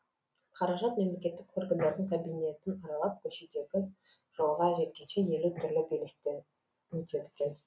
қаражат мемлекеттік органдардың кабинетін аралап көшедегі жолға жеткенше елу түрлі белестен өтеді екен